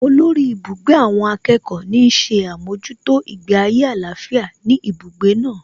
Olórí ibùgbé àwọn akẹ́kọ̀ọ́ ní ń ṣe àmójútó ìgbé ayé àlàáfíà ní ibùgbé náà